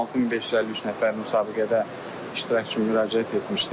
16553 nəfər müsabiqədə iştirak üçün müraciət etmişdir.